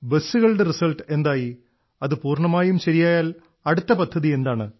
ബസ്സുകളുടെ റിസൾട്ട് എന്തായി അത് പൂർണ്ണമായും ശരിയായാൽ അടുത്ത പദ്ധതി എന്താണ്